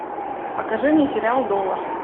покажи мне сериал доллар